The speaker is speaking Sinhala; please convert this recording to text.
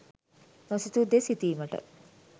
නොසිතූ දේ සිතීමට